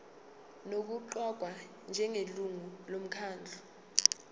nokuqokwa njengelungu lomkhandlu